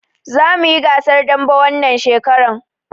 Za muyi gasar dambe wannan shekaran